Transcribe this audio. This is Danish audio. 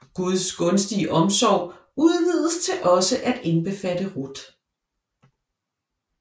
Guds gunstige omsorg udvides til også at indbefatte Ruth